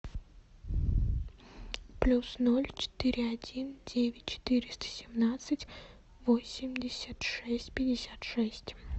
плюс ноль четыре один девять четыреста семнадцать восемьдесят шесть пятьдесят шесть